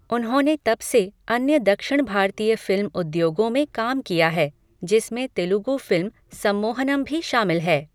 उन्होनें तब से अन्य दक्षिण भारतीय फिल्म उद्योगों में काम किया है, जिसमें तेलुगु फिल्म 'सम्मोहनम' भी शामिल है।